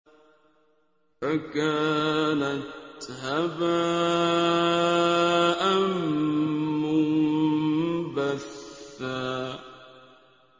فَكَانَتْ هَبَاءً مُّنبَثًّا